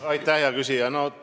Aitäh, hea küsija!